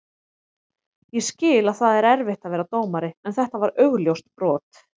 Ég skil að það er erfitt að vera dómari en þetta var augljóst brot.